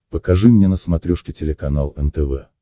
покажи мне на смотрешке телеканал нтв